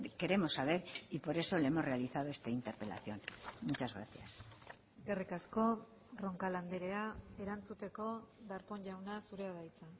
queremos saber y por eso le hemos realizado esta interpelación muchas gracias eskerrik asko roncal andrea erantzuteko darpón jauna zurea da hitza